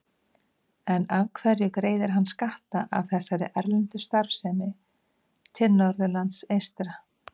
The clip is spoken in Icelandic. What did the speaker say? En af hverju greiðir hann skatta af þessari erlendu starfsemi til Norðurlands eystra?